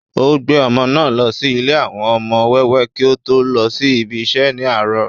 ó gbé ọmọ náà lọ sí ilé àwọn ọmọ wẹ́wẹ́ kí ó tó lọ sí ibi isẹ́ ní àárọ̀